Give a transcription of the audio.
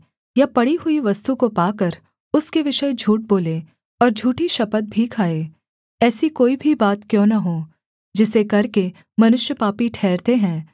या पड़ी हुई वस्तु को पाकर उसके विषय झूठ बोले और झूठी शपथ भी खाए ऐसी कोई भी बात क्यों न हो जिसे करके मनुष्य पापी ठहरते हैं